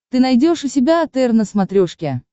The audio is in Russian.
ты найдешь у себя отр на смотрешке